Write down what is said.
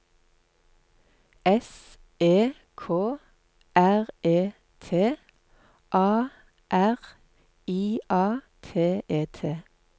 S E K R E T A R I A T E T